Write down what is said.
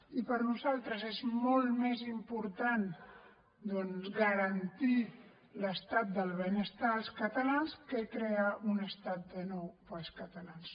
i per nosaltres és molt més important doncs garantir l’estat del benestar als catalans que crear un estat de nou per als catalans